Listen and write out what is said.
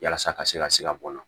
Yasa a ka se ka se ka bɔ nɔn na